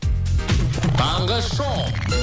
таңғы шоу